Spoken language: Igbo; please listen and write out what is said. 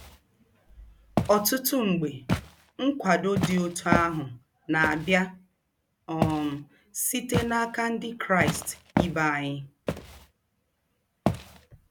Ọtụtụ mgbe, nkwado dị otú ahụ na-abịa um site n'aka Ndị Kraịst ibe anyị.